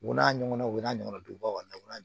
U n'a ɲɔgɔnaw n'a ɲɔgɔna donbaw na